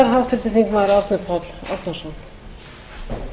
þar sem lagðar eru til breytingar á